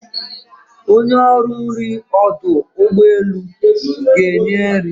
Onye ọrụ nrị ọdụ ụgbọeluga-enye nri.